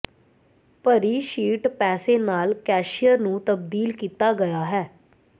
ਭਰੀ ਸ਼ੀਟ ਪੈਸੇ ਨਾਲ ਕੈਸ਼ੀਅਰ ਨੂੰ ਤਬਦੀਲ ਕੀਤਾ ਗਿਆ ਹੈ